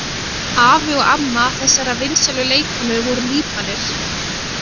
Afi og amma þessarar vinsælu leikkonu voru Líbanir.